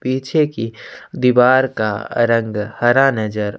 पीछे की दिवार का रंग हरा नज़र--